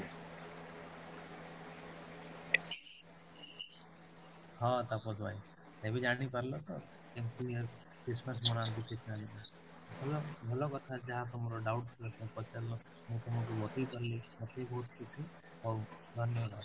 ହଁ, ତାପସ ଭାଇ ଏବେ ଜାଣିପାରିଲ ତ କେମିତି Christmas ମନାନ୍ତି ଭଲ ଭଲ କଥା ଏଇଟା ଯାହା ତମର doubt ଥିଲା ପଚାରିଲ ମୁଁ ତମକୁ ବତେଇପାରିଲି ମତେ ବି ବହୁତ ଖୁସି ହଉ ଧନ୍ୟବାଦ